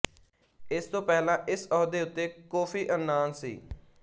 ਇਸ ਤੋਂ ਪਹਿਲਾਂ ਇਸ ਅਹੁਦੇ ਉੱਤੇ ਕੋਫ਼ੀ ਅੰਨਾਨ ਸੀ